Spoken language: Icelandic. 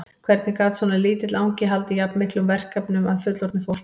Hvernig gat svona lítill angi haldið jafn miklum verkefnum að fullorðnu fólki?